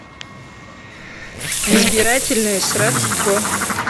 избирательное сродство